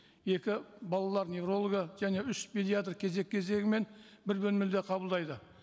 екі балалар неврологы және үш педиатр кезек кезегімен бір бөлмеде қабылдайды